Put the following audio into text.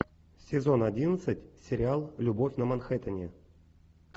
сезон одиннадцать сериал любовь на манхэттене